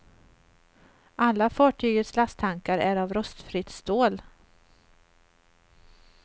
Alla fartygets lasttankar är av rostfritt stål.